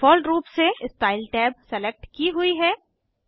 default रूप से style tab select की हुई है